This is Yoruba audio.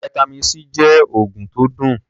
Vitamin C jẹ́ oògùn tó dùn.